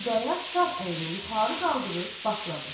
Xudayar sağ əlini yuxarı qaldırıb başladı: